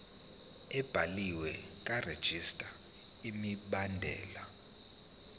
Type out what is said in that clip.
ebhaliwe karegistrar imibandela